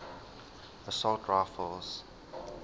assault rifles